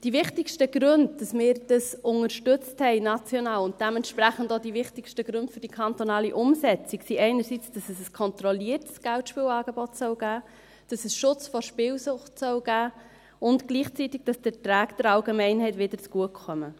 Die wichtigsten Gründe, weshalb wir dieses national unterstützt haben, und dementsprechend auch die wichtigsten Gründe für die kantonale Umsetzung, sind einerseits, dass es ein kontrolliertes Geldspielangebot geben soll, dass es Schutz vor Spielsucht geben soll und dass die Beträge gleichzeitig wieder der Allgemeinheit zugutekommen.